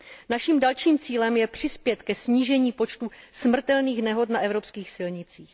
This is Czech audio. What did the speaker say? Naším dalším cílem je přispět ke snížení počtu smrtelných nehod na evropských silnicích.